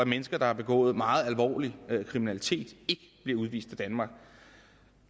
mennesker der har begået meget alvorlig kriminalitet ikke bliver udvist af danmark